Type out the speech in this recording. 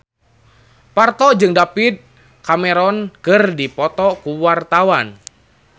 Parto jeung David Cameron keur dipoto ku wartawan